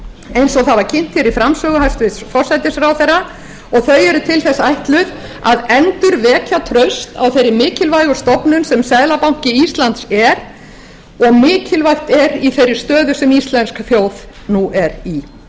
eins og það var kynnt í framsögu hæstvirtur forsætisráðherra og þau eru til þess ætluð að endurvekja traust á þeirri mikilvægu stofnun sem seðlabanki íslands er og mikilvægt er í þeirri stöðu sem íslensk þjóð nú er í